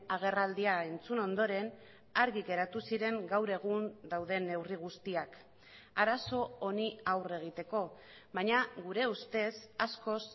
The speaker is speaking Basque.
agerraldia entzun ondoren argi geratu ziren gaur egun dauden neurri guztiak arazo honi aurre egiteko baina gure ustez askoz